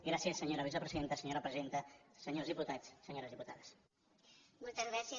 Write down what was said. gràcies senyora vicepresidenta senyora presidenta senyors diputats senyores diputades